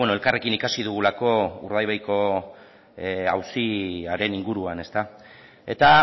elkarrekin ikasi dugulako urdaibaiko auziaren inguruan eta